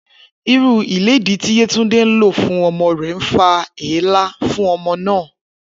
Irú ilédìí tí Yétúndé ń lò fún o̩mo̩ rè̩ ń fa èélá fún o̩mo̩ náà